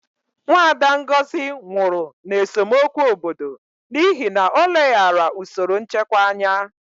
Nwada Ngozi nwụrụ na esemokwu obodo n'ihi na o leghaara usoro nchekwa anya.